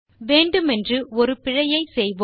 வேண்டுமென்று ஒரு பிழையை செய்வோம்